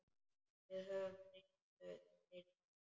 Við höfum reynslu fyrir því.